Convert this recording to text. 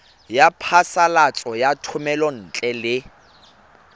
ya phasalatso ya thomelontle le